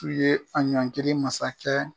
Ku ye an ɲɔnkelen masakɛ.